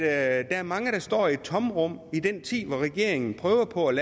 er mange der står i et tomrum i den tid hvor regeringen prøver på at